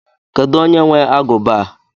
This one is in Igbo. Kedu onye nwe aguba a?